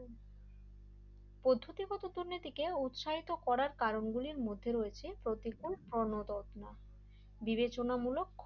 পদ্ধতিগত দুর্নীতিকে উৎসাহিত করার কারণগুলো মধ্যে রয়েছে প্রতিকূল প্রোণ -রত্না বিবেচনা মূলক